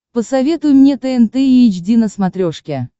посоветуй мне тнт эйч ди на смотрешке